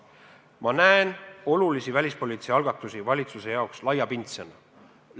Ma näen olulisi välispoliitilisi algatusi valitsuse jaoks laiapindsena.